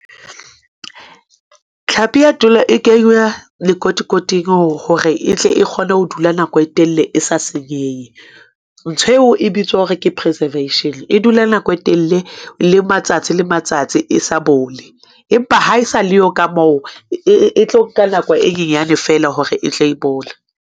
Tlhapi ya e kenywa lekotikoting hore e tle e kgone ho dula nako e telele e sa senyehe. Ntho eo e bitswa hore ke preservation. E dula nako e telele, le matsatsi le matsatsi e sa bole. Empa ha e sa leyo, ka moo e tlo nka nako e nyenyane fela hore e tle e bole.